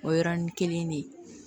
O yɔrɔnin kelen de